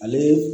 Ale